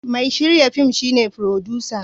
Mai shirya fin shi ne furodusa.